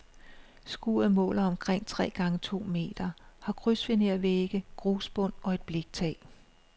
Skuret måler omkring tre gange to meter, har krydsfinervægge, grusbund og et bliktag.